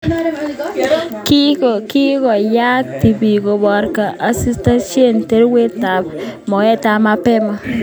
Kikokany tibik kobarkei asikoistoekei tewernatetab moetab mapema